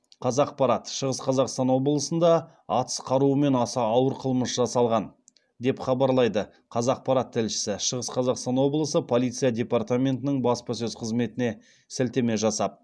қазақпарат шығыс қазақстан облысында атыс қаруымен аса ауыр қылмыс жасалған деп хабарлайды қазақпарат тілшісі шығыс қазақстан облысы полиция департаментінің баспасөз қызметіне сілтеме жасап